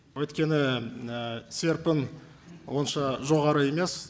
өйткені серпін онша жоғары емес